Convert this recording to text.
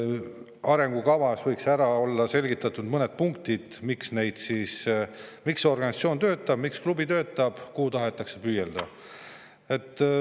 Arengukavas võiks olla mõnes punktis selgitatud, miks see organisatsioon töötab, miks klubi töötab, kuhu tahetakse püüelda.